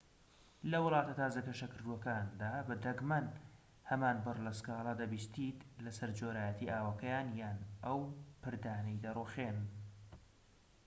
لە وڵاتە تازە گەشەکردووەکاندا دەگمەن هەمان بڕ لە سكالا دەبیستیت لەسەر جۆرایەتی ئاوەکەیان یان ئەو پردانەی دەڕوخێن